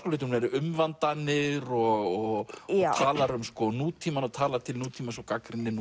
umvandanir og talar um nútímann talar til nútímans og gagnrýnir